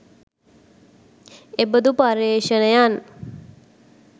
එබඳු පර්යේෂණයන්